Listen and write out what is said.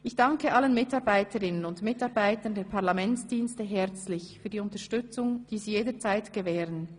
Ich danke allen Mitarbeiterinnen und Mitarbeitern der Parlamentsdienste herzlich für die Unterstützung, die sie jederzeit gewähren.